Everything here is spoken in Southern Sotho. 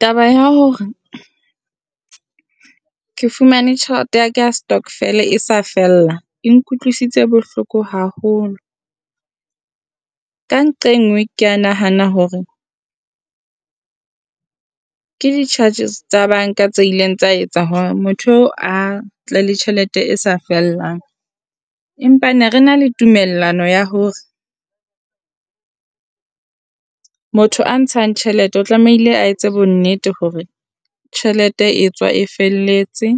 Taba ya hore ke fumane tjhelete ya ka stokvel e sa fella e nkutlwisitse bohloko haholo, ka nqa e nngwe kea nahana hore ke di charges tsa banka tse ileng tsa etsa hore motho oo a tle le tjhelete e sa fellang. Empa ne re na le tumellano ya hore motho a ntshang tjhelete o tlamehile a etse bonnete hore tjhelete e tswa e felletse,